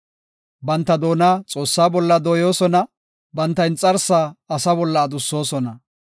Banta doona Xoossaa bolla dooyosona; banta inxarsaa asa bolla adussosona.